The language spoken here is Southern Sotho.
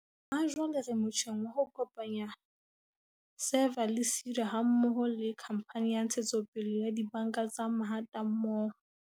"Hajwale re motjheng wa ho kopanya SEFA le SEDA ha mmoho le Khamphane ya Ntshetsopele ya Dibanka tsa Mahatammoho."